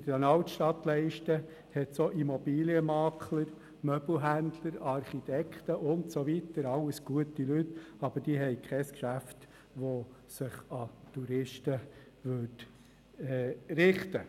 In den Altstadtleisten gibt es auch Immobilienmakler, Möbelhändler, Architekten und so weiter, alles gute Leute, aber diese haben kein Geschäft, das sich an Touristen richtet.